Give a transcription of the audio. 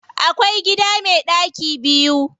Akwai gida me ɗaki biyu.